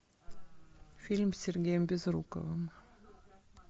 фильм с сергеем безруковым